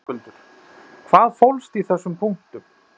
Höskuldur: Hvað fólst í þessum punktum?